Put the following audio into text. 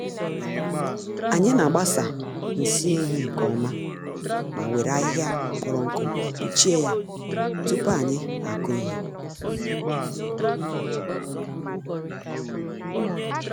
Anyị n’agbasa nsị ehi nke ọma ma were ahịhịa kpọrọ nkụ kpuchie ya tupu anyị akụ ihe.